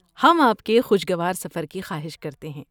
ہم آپ کے خوشگوار سفر کی خواہش کرتے ہیں۔